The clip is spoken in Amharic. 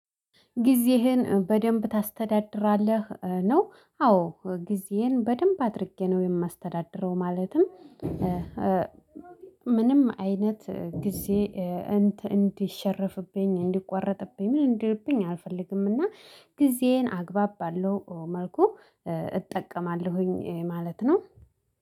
ጊዜህን በደንብ ታስተዳድራለህ? ነው አዎ ጊዜየን በደንብ አድርጌ ነው የማስተዳድረው። ማለትም ምንም አይነት እንዲሸረፍብኝ እንዲቋረጥብኝ ምን እንዲልብኝ አልፈልግምና። ጊዜዬን አግባብ ባለው መልኩ እጠቀማለሁኝ ማለት ነው